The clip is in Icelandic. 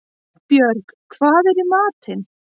Vagnbjörg, hvað er í matinn?